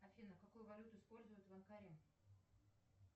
афина какую валюту используют в анкаре